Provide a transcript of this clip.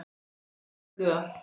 Annir kölluðu að.